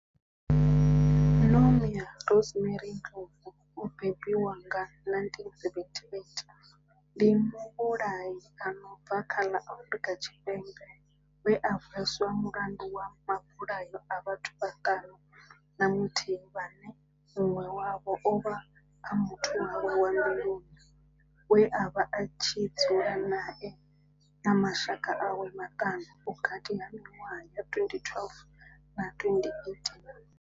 Nomia Rosemary Ndlovu o bebiwaho nga, 1978 ndi muvhulahi a no bva kha ḽa Afrika Tshipembe we a hweswa mulandu wa mabulayo a vhathu vhaṱanu na muthihi vhane munwe wavho ovha a muthu wawe wa mbiluni we avha a tshi dzula nae na mashaka awe maṱanu vhukati ha minwaha ya 2012 na 2018.